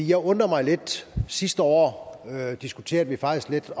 jeg undrer mig lidt det sidste år diskuterede vi faktisk lidt